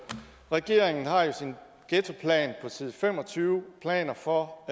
regeringen har i sin ghettoplan på side fem og tyve planer for